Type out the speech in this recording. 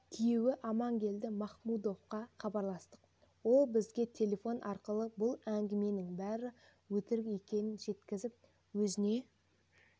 күйеуі амангелді махмудовқа хабарластық ол бізге телефон арқылы бұл әңгіменің бәрі өтірік екенін жеткізіп өзіне